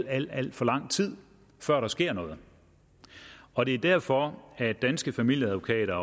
alt alt for lang tid før der sker noget og det er derfor at danske familieadvokater